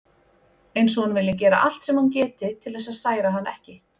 Eins og hún vilji gera allt sem hún geti til þess að særa hann ekki.